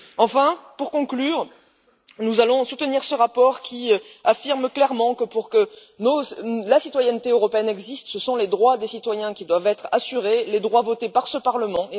Enfin, pour conclure, nous allons soutenir ce rapport, qui affirme clairement que, pour que la citoyenneté européenne existe, ce sont les droits des citoyens qui doivent être assurés, les droits votés par ce Parlement.